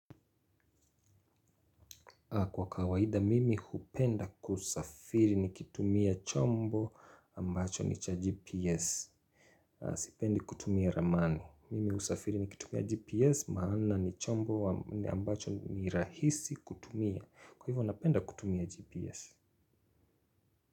Kwa kawaida mimi hupenda kusafiri nikitumia chombo ambacho ni cha GPS. Sipendi kutumia ramani. Mimi kusafiri nikitumia GPS maana ni chombo ambacho ni rahisi kutumia. Kwa hivyo napenda kutumia GPS.